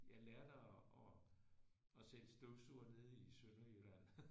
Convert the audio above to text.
Jeg lærte at at sælge støvsugere nede i Sønderjylland